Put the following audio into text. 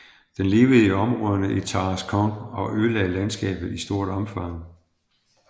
Den levede i områderne i Tarascon og ødelagde landskabet i stort omfang